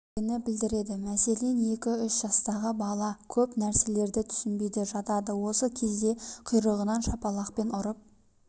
белгіні білдіреді мәселен екі-үш жастағы бала көп нәрселерді түсінбей жатады осы кезде құйрығынан шапалақпен ұрып